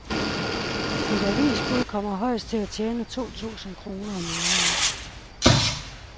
Et avisbud kommer højst til at tjene to tusind kroner om måneden.